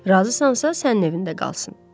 Razısansa sənin evində qalsın.